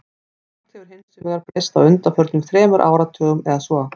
Margt hefur hins vegar breyst á undanförnum þremur áratugum eða svo.